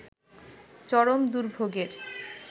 চরম দুর্ভোগের